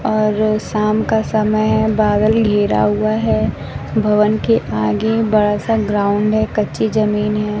और शाम का समय है बादल घेरा हुआ है भवन के आगे बड़ा सा ग्राउंड है कच्ची जमीन है।